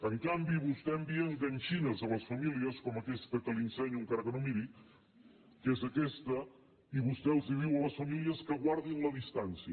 en canvi vostè envia adhesius a les famílies com aquesta que li ensenyo encara que no miri que és aques·ta i vostè els diu a les famílies que guardin la distància